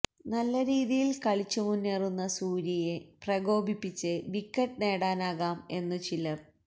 നല്ല രീതിയിൽ കളിച്ചുമുന്നേറുന്ന സൂര്യയെ പ്രകോപിപ്പിച്ച് വിക്കറ്റ് നേടാനാകാം എന്നു ചിലർ